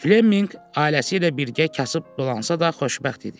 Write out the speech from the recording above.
Fleminq ailəsi ilə birgə kasıb dolansa da xoşbəxt idi.